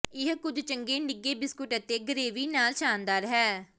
ਇਹ ਕੁਝ ਚੰਗੇ ਨਿੱਘੇ ਬਿਸਕੁਟ ਅਤੇ ਗਰੇਵੀ ਨਾਲ ਸ਼ਾਨਦਾਰ ਹੈ